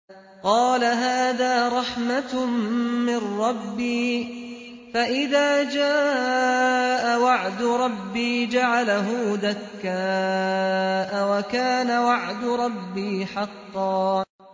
قَالَ هَٰذَا رَحْمَةٌ مِّن رَّبِّي ۖ فَإِذَا جَاءَ وَعْدُ رَبِّي جَعَلَهُ دَكَّاءَ ۖ وَكَانَ وَعْدُ رَبِّي حَقًّا